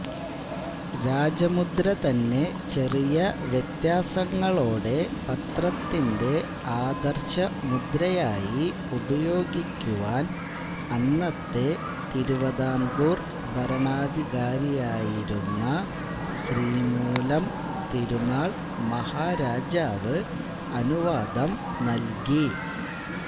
രാജമുദ്ര തന്നെ ചെറിയ വ്യത്യാസങ്ങളോടെ പത്രത്തിന്റെ ആദർശമുദ്രയായി ഉപയോഗിക്കുവാൻ അന്നത്തെ തിരുവിതാംകൂർ ഭരണാധികാരിയായിരുന്ന ശ്രീമൂലം തിരുനാൾ മഹാരാജാവ് അനുവാദം നൽകി